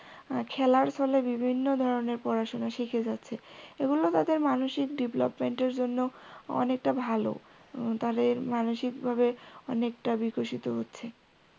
খেলার ছলে বিভিন্ন ধরণের পড়াশোনা শিখে যাচ্ছে এগুলো তাদের মানসিক development এর জন্য অনেকটা ভালো তাদের মানসিক ভাবে অনেকটা বিকশিত হচ্ছে।